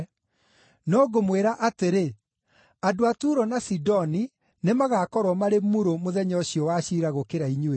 No ngũmwĩra atĩrĩ, andũ a Turo na Sidoni nĩmagakorwo marĩ murũ mũthenya ũcio wa ciira gũkĩra inyuĩ.